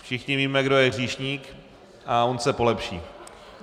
Všichni víme, kdo je hříšník, a on se polepší.